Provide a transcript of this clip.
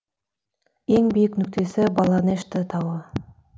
ең биік нүктесі баланешты тауы